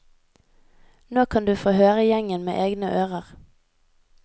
Nå kan du å høre gjengen med egne ører.